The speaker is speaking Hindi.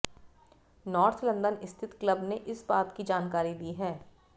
नार्थ लंदन स्थित क्लब ने इस बात की जानकारी दी है